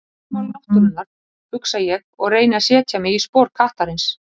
Lögmál náttúrunnar, hugsa ég og reyni að setja mig í spor kattarins.